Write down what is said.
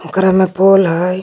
ओकरा में पोल है।